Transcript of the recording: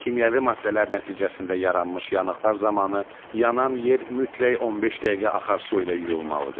Kimyəvi maddələr nəticəsində yaranmış yanıqlar zamanı yanan yer mütləq 15 dəqiqə axar su ilə yuyulmalıdır.